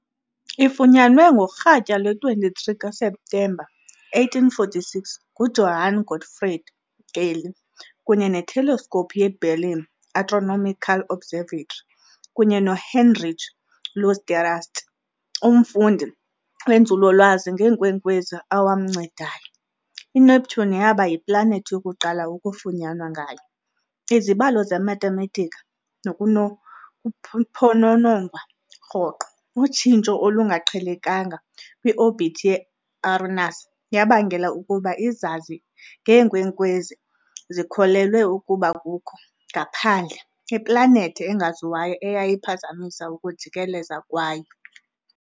Ifunyanwe ngorhatya lwe-23 kaSeptemba 1846 nguJohann Gottfried Galle, kunye neteleskopu yeBerlin Astronomical Observatory, kunye noHeinrich Louis d'Arrest, umfundi wenzululwazi ngeenkwenkwezi owamncedayo, INeptune yaba yiplanethi yokuqala ukufunyanwa ngayo. izibalo zemathematika nokunokuphononongwa rhoqo- utshintsho olungaqhelekanga kwi-orbit ye-Uranus yabangela ukuba izazi ngeenkwenkwezi zikholelwe ukuba kukho, ngaphandle, iplanethi engaziwayo eyayiphazamisa ukujikeleza kwayo.